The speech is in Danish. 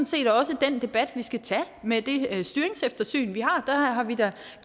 set også den debat vi skal tage i med det styringseftersyn vi har har vi da